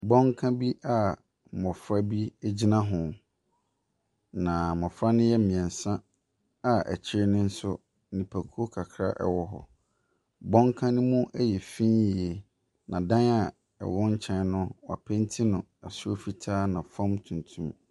Bɔnka bi a mmɔfra bi gyina ho. Na mmɔfra no yɛ mmiɛnsa a akyi no nso nnipakuo kakra wɔ hɔ. Bɔnka ne mu yɛ fi yie na dan a ɛwɔ nkyɛn no, wɔapeenti no soro fitaa na fam tuntum.